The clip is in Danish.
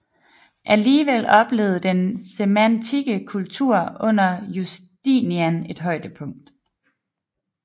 Alligevel oplevede den senantikke kultur under Justinian et højdepunkt